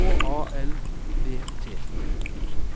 H A L V T